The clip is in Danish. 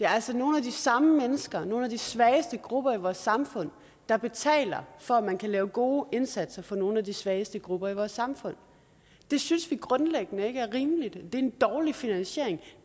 altså nogle af de samme mennesker nogle af de svageste grupper i vores samfund der betaler for at man kan lave gode indsatser for nogle af de svageste grupper i vores samfund det synes vi grundlæggende ikke er rimeligt det er en dårlig finansiering